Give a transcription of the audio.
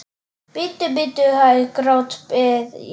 Bíddu, bíddu hæg, grátbið ég.